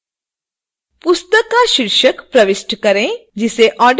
पुस्तक का शीर्षक प्रविष्ट करें जिसे ऑर्डर किया जाना है